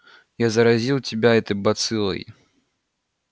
я заразил тебя этой бациллой